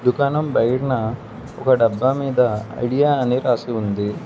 దుకాణం బయటన ఒక డబ్బా మీద ఐడియా అని రాసి ఉంది.